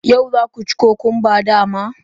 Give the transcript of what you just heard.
Yau za ku ci cucumbers, dama?